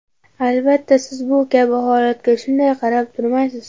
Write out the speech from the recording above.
Albatta, siz bu kabi holatga shunday qarab turmaysiz.